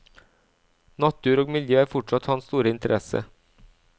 Natur og miljø er fortsatt hans store interesse.